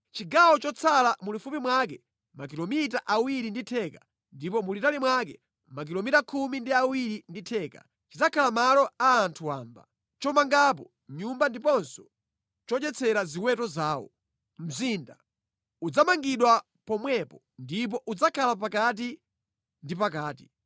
“Chigawo chotsala mulifupi mwake makilomita awiri ndi theka ndipo mulitali mwake makilomita khumi ndi awiri ndi theka, chidzakhala malo a anthu wamba, chomangapo nyumba ndiponso chodyetsera ziweto zawo. Mzinda udzamangidwa pomwepo ndipo udzakhala pakati ndi pakati.